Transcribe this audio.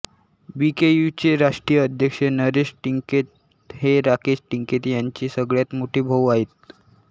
बीकेयूचे राष्ट्रीय अध्यक्ष नरेश टिकैत हे राकेश टिकैत यांचे सगळ्यात मोठे भाऊ आहेत